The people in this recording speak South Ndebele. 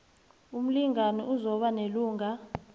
umlingani uzokuba nelungelo